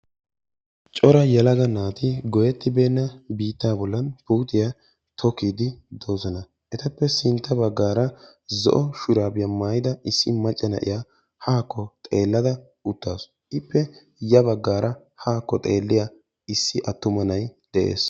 Cora yelaga naati goyyettibeena biitta bollan puutiya tokkide doosona. Etappe sintta baggaara zo'o shurabiya maayyida issi macca na'iya haako xeelada utaasu. Ippe ya baggaara hakko xeelliya issi attuma nay de'ees.